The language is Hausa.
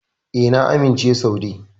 E, na amince Saude.